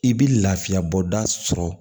I bɛ lafiyabɔda sɔrɔ